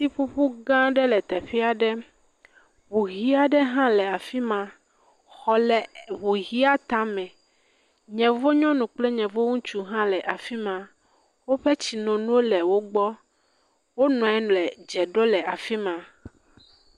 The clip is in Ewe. … gã aɖe le teƒe aɖe, ŋu ʋi aɖe hã le afi ma, xɔ le ŋu ʋia tame. Yevu nyɔnu kple yevu ŋutsu hã le fi ma. Woƒe tsi nono le wo gbɔ. Wonɔ anyi le dze ɖom le fi ma.